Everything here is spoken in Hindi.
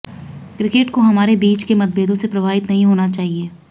क्रिकेट को हमारे बीच के मतभेदों से प्रभावित नहीं होना चाहिए